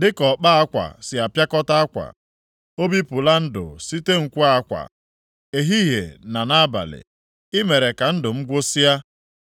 dịka ọkpa akwa si apịakọta akwa o bipụla ndụ site nkwe-akwa, ehihie na nʼabalị, ị mere ka ndụ m gwụsịa.